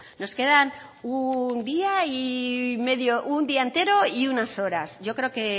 nos quedan un día y medio un día entero y unas horas yo creo que